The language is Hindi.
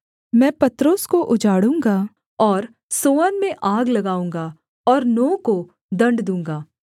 मैं पत्रोस को उजाड़ूँगा और सोअन में आग लगाऊँगा और नो को दण्ड दूँगा